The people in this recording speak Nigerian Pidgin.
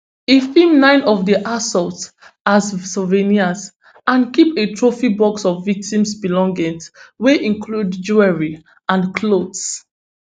e film nine of di assaults as souvenirs and keep a trophy box of victims belongings wey include jewellery and clothes